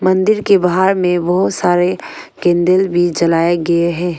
मंदिर के बाहर में बहुत सारे कैंडल भी जलाए गए हैं।